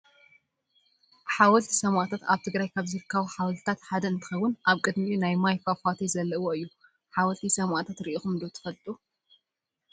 ሓወልቲ ሰማእታት ኣብ ትግራይ ካብ ዝርከቡ ሓወልትታት ሓደ እንትከውን ኣብ ቅድሚኡ ናይ ማይ ፋፋቴ ዘለዎ እዩ። ሓወልቲ ሰማእታት ርኢኩሞ ዶ ትፈልጡ?